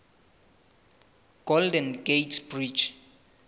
golden gate bridge